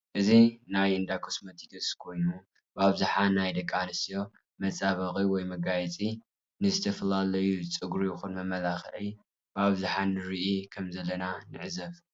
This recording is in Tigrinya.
እዚ ናይ እዳኮስመትክስ ኮይኑ ብኣብዛሕ ናይ ደቂ ኣንስትዮ መፃባበቂ ወይ መጋየፂ ዝተፈላላዩኣይ ፀጉሪ ይኩን መመላኪዕ ብኣብዛሓ ንርኢ ከም ዘለና ንዕዘብ